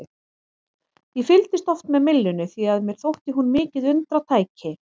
Ég fylgdist oft með myllunni því að mér þótti hún mikið undratæki.